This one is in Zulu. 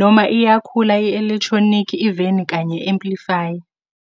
noma iyakhula i-electronic iveni kanye amplifier.